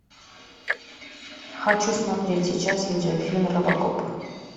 хочу смотреть сейчас видеофильм робокоп